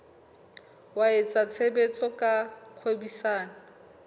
wa etsa tshebetso tsa kgwebisano